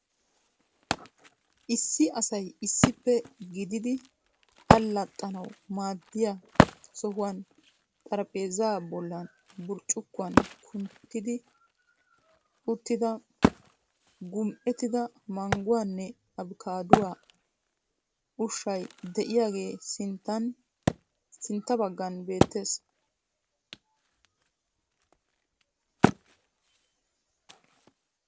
Issi asay issippe gididi allaxxanawu maadiya sohuwan xarphpheezaa bollan burccukkuwan kunttidi uttida gum'ettida mangguwanne abkaaduawa ushshay de'iyagee sintta baggan beettees.